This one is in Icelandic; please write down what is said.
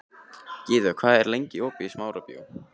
Gyða, hvað er lengi opið í Smárabíói?